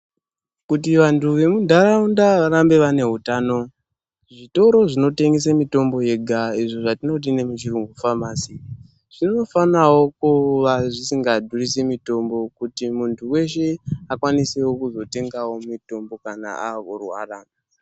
Kuti vantu vemuntaraunda varambe vaine utano, zvitoro zvinotengese mitombo yega, izvo zvatinoti nemuchirungu famasi zvinofanawo kuva zvisikadhurisi mitombo kuti muntu weshe akwanisewo kuzotengawo mitombo kana akurwara.